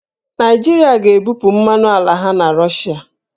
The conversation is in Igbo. Naịjirịa ga-ebupụ mmanụ ala ha na Rọshịa